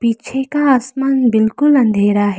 पीछे का आसमान बिल्कुल अंधेरा है।